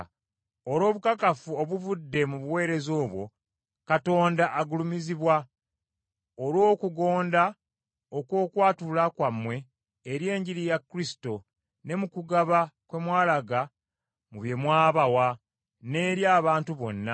Olw’obukakafu obuvudde mu buweereza obwo, Katonda agulumizibwa olw’okugonda okw’okwatula kwammwe eri Enjiri ya Kristo, ne mu kugaba kwe mwalaga mu bye mwabawa, n’eri abantu bonna,